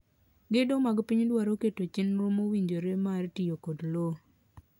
Gedo mag piny dwaro keto chenro mowinjore mar tiyo kod lowo.